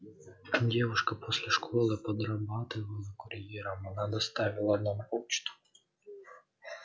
девушка после школы подрабатывала курьером она доставила нам почту